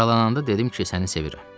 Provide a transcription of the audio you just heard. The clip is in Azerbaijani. Aralananda dedim ki, səni sevirəm.